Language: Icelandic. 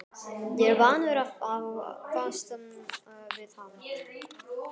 Ég er vanur að fást við hann!